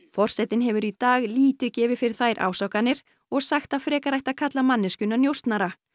forsetinn hefur í dag lítið gefið fyrir þær ásakanir og sagt að frekar ætti að kalla manneskjuna njósnara